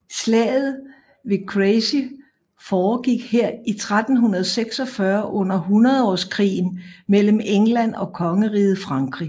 Slaget ved Crecy foregik her i 1346 under hundredårskrigen mellem England og Kongeriget Frankrig